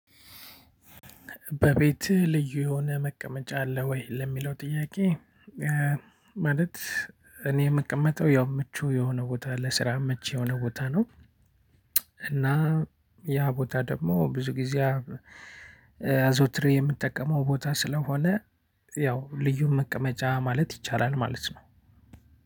በቤትህ ልዩ የሆነ መቀመጫ አለ ወይ ለሚለው ጥያቄ። ማለት እኔ የምቀመጠው ያው ምቹ የሆነ ቦታ ለስራ ምቹ የሆነ ቦታ ነው። እና ያ ቦታ ደግሞ ብዙ ጊዜ አዘውትር የምትጠቀመው ቦታ ስለሆነ ያው ልዩ መቀመጫ ማለት ይቻላል ማለት ነው።